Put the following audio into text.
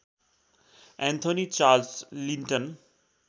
Anthony Charles Linton